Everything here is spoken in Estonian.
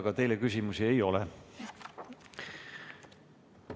Aga teile küsimusi ei ole.